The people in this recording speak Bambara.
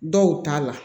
Dɔw t'a la